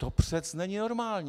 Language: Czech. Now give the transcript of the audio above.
To přece není normální.